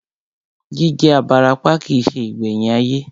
Jí jẹ́ abarapá kìí se ìgbẹ̀yìn ayé